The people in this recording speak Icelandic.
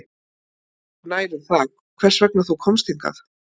Ég er engu nær um það hvers vegna þú komst hingað